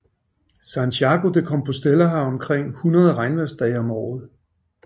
Santiago de Compostela har omkring 100 regnvejrsdage om året